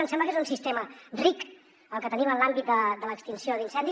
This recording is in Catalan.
ens sembla que és un sistema ric el que tenim en l’àmbit de l’extinció d’incendis